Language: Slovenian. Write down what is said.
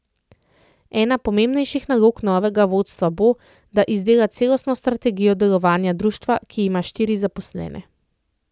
Ena pomembnejših nalog novega vodstva bo, da izdela celostno strategijo delovanja društva, ki ima štiri zaposlene.